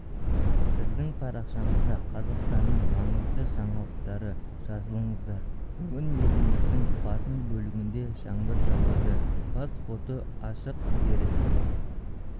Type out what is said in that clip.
біздің парақшамызда қазақстанның маңызды жаңалықтары жазылыңыздар бүгін еліміздің басым бөлігінде жаңбыр жауады бас фото ашық дерек